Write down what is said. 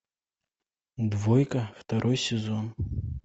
двойка второй сезон